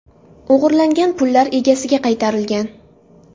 O‘g‘irlangan pullar egasiga qaytarilgan.